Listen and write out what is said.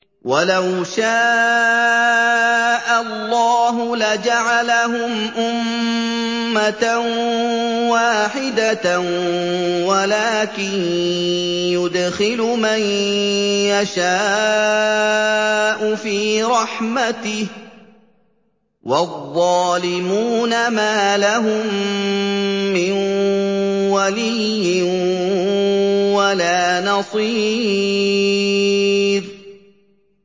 وَلَوْ شَاءَ اللَّهُ لَجَعَلَهُمْ أُمَّةً وَاحِدَةً وَلَٰكِن يُدْخِلُ مَن يَشَاءُ فِي رَحْمَتِهِ ۚ وَالظَّالِمُونَ مَا لَهُم مِّن وَلِيٍّ وَلَا نَصِيرٍ